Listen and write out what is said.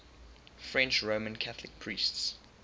french roman catholic priests